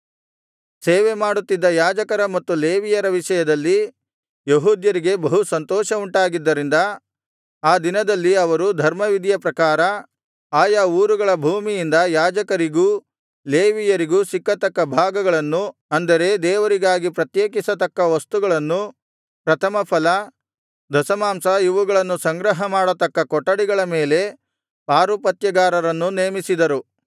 ಸೇವೆಮಾಡುತ್ತಿದ್ದ ಯಾಜಕರ ಮತ್ತು ಲೇವಿಯರ ವಿಷಯದಲ್ಲಿ ಯೆಹೂದ್ಯರಿಗೆ ಬಹು ಸಂತೋಷವುಂಟಾಗಿದ್ದರಿಂದ ಆ ದಿನದಲ್ಲಿ ಅವರು ಧರ್ಮವಿಧಿಯ ಪ್ರಕಾರ ಆಯಾ ಊರುಗಳ ಭೂಮಿಯಿಂದ ಯಾಜಕರಿಗೂ ಲೇವಿಯರಿಗೂ ಸಿಕ್ಕತಕ್ಕ ಭಾಗಗಳನ್ನು ಅಂದರೆ ದೇವರಿಗಾಗಿ ಪ್ರತ್ಯೇಕಿಸತಕ್ಕ ವಸ್ತುಗಳು ಪ್ರಥಮಫಲ ದಶಮಾಂಶ ಇವುಗಳನ್ನು ಸಂಗ್ರಹಮಾಡತಕ್ಕ ಕೊಠಡಿಗಳ ಮೇಲೆ ಪಾರುಪತ್ಯಗಾರರನ್ನು ನೇಮಿಸಿದರು